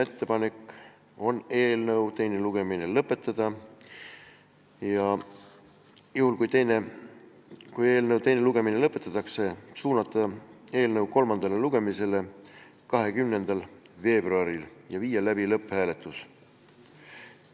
Ettepanek on eelnõu teine lugemine lõpetada ja juhul, kui teine lugemine lõpetatakse, suunata eelnõu kolmandale lugemisele 20. veebruariks ja viia siis läbi lõpphääletus.